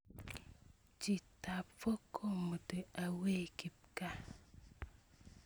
cheetap folk komuto away kipkaa